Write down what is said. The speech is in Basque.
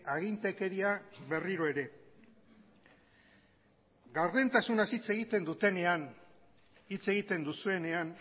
agintekeria berriro ere gardentasunaz hitz egiten dutenean hitz egiten duzuenean